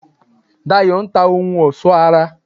Dayọ̀ n ta ohun ọ̀sọ́ ara